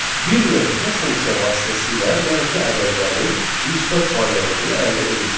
Bir növ bu funksiya vasitəsilə mənfi ədədlərin müsbət variantını əldə edirik.